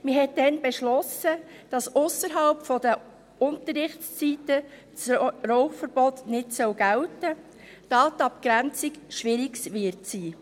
Man beschloss damals, dass das Rauchverbot ausserhalb der Unterrichtszeiten nicht gelten soll, da die Abgrenzung schwierig sein werde.